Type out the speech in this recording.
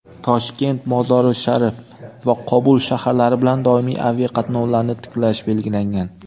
Toshkent – Mozori-Sharif va Qobul shaharlari bilan doimiy aviaqatnovlarni tiklash belgilangan.